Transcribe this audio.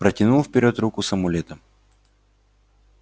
протянул вперёд руку с амулетом